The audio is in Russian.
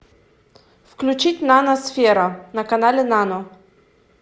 включить нано сфера на канале нано